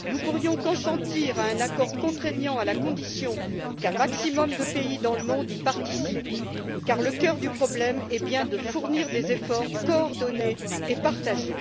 Nous pourrions consentir à un accord contraignant à la condition qu'un maximum de pays dans le monde y participent, car le cœur du problème est bien de fournir des efforts coordonnés et partagés.